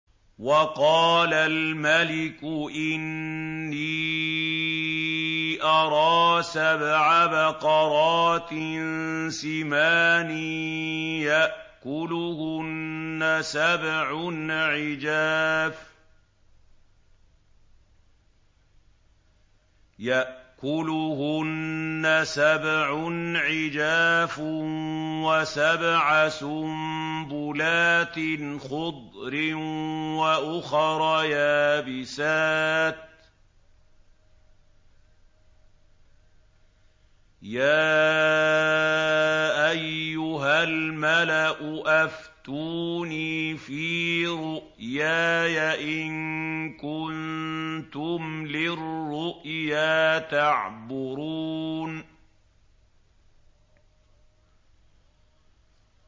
وَقَالَ الْمَلِكُ إِنِّي أَرَىٰ سَبْعَ بَقَرَاتٍ سِمَانٍ يَأْكُلُهُنَّ سَبْعٌ عِجَافٌ وَسَبْعَ سُنبُلَاتٍ خُضْرٍ وَأُخَرَ يَابِسَاتٍ ۖ يَا أَيُّهَا الْمَلَأُ أَفْتُونِي فِي رُؤْيَايَ إِن كُنتُمْ لِلرُّؤْيَا تَعْبُرُونَ